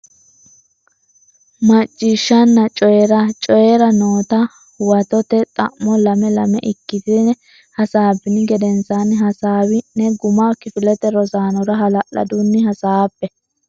Macciishshanna Coyi ra Coyi ra noota huwatote xa mo lame lame ikkitine hasaabbini gedensaanni hasaawi ne guma kifilete rosaanora hala ladunni hasaabbe.